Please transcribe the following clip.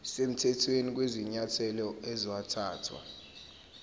semthethweni kwezinyathelo ezathathwa